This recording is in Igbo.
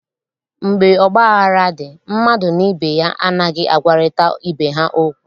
Mgbe ọgbaghara dị, mmadụ na ibe ya anaghị agwarịta ibe ha okwu